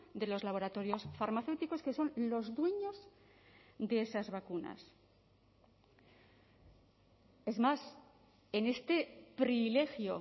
de los laboratorios farmacéuticos que son los dueños de esas vacunas es más en este privilegio